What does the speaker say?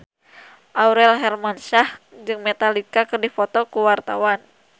Aurel Hermansyah jeung Metallica keur dipoto ku wartawan